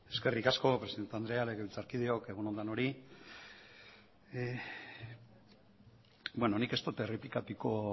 eskerrik asko presidente andrea legebiltzarkideok egun on denoi beno nik ez dut errepikatuko